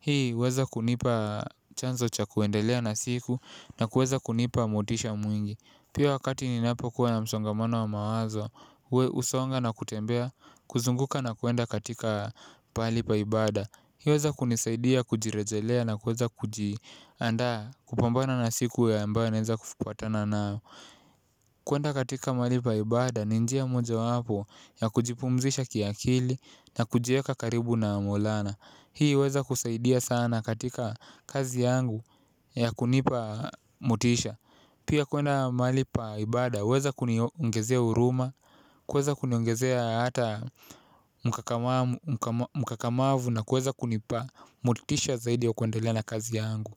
Hii huweza kunipa chanzo cha kuendelea na siku na kuweza kunipa motisha mwingi. Pia wakati ninapo kuwa na msongamano wa mawazo, husonga na kutembea, kuzunguka na kuenda katika pahali paibada. Hii huweza kunisaidia kujirejelea na kuweza kuji andaa kupambana na siku ya ambayo naeza kupatana nao. Kwenda katika mahal pa ibada ni njia moja wapo ya kujipumzisha kiakili na kujieka karibu na maulana. Hii huweza kusaidia sana katika kazi yangu ya kunipa motisha. Pia kwenda mahali pa ibada, huweza kuniongezea huruma, kuweza kuniongezea hata mkakamavu na kuweza kunipa, motisha zaidi ya kuendelea na kazi yangu.